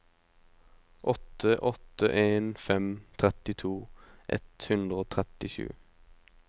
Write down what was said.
åtte åtte en fem trettito ett hundre og trettisju